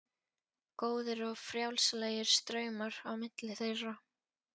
Góðir og frjálslegir straumar á milli þeirra.